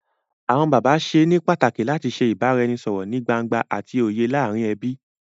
Awọn bàbá ṣe ní pàtàkì làti ṣe ibaraẹnisọrọ nìí gbángba àti òye láàrin ẹbí.